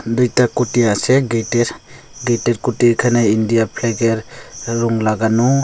দুইটা খুঁটি আসে গেইটের গেইটের খুঁটি এইখানে ইন্ডিয়া ফ্ল্যাগের রং লাগানো।